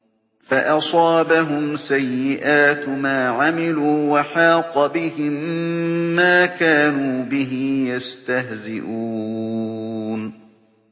فَأَصَابَهُمْ سَيِّئَاتُ مَا عَمِلُوا وَحَاقَ بِهِم مَّا كَانُوا بِهِ يَسْتَهْزِئُونَ